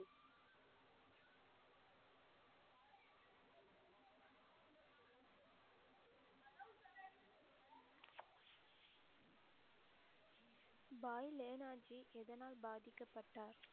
பாய் லெனாஜி எதனால் பாதிக்கப்பட்டார்